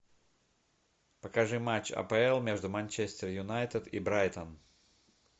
покажи матч апл между манчестер юнайтед и брайтон